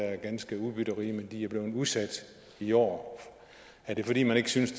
er ganske udbytterige men de er blevet udsat i år er det fordi man ikke synes